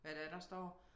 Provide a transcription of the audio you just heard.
Hvad det er der står